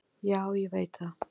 """Já, ég veit það."""